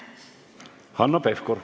Hanno Pevkur.